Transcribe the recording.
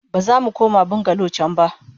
Bazamu koma bungalow can ba.